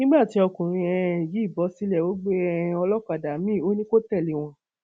nígbà tí ọkùnrin um yìí bọ sílẹ ó gbé um olókàdá miín ò ní kó tẹlé wọn